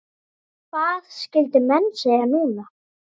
Hvað skyldu menn segja núna?